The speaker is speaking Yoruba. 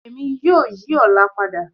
Emi yoo yi ọla pada